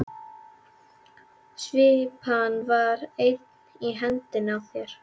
Svipan var enn í hendinni á þér.